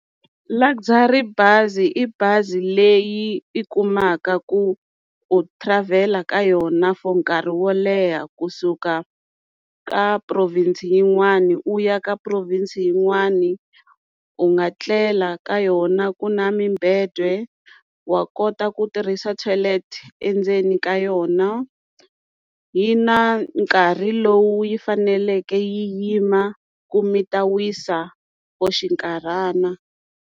Luxury bazi i bazi leyi i kumaka ku u travel ka yona for nkarhi wo leha kusuka ka province yin'wani u ya ka province yin'wani u nga tlela ka yona ku na mibedwa wa kota ku tirhisa toilet endzeni ka yona yi na nkarhi lowu yi faneleke yi yima ku mi ta wisa for xinkarhana.